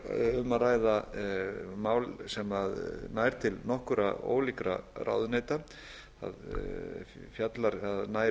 um að ræða mál sem nær til nokkurra ólíkra ráðuneyta það nær